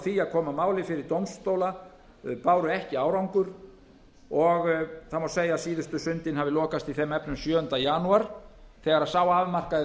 því að koma máli fyrir dómstóla báru ekki árangur og það má segja að síðustu sundin hafi lokast í þeim efnum sjöunda janúar þegar sá afmarkaði